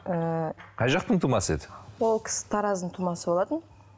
ііі қай жақтың тумасы еді ол кісі тараздың тумасы болатын